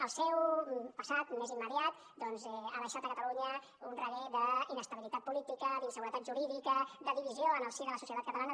el seu passat més immediat doncs ha deixat a catalunya un reguer d’inestabilitat política d’inseguretat jurídica de divisió en el si de la societat catalana